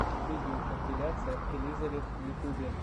видеокомпиляция элизавет в ютьюбе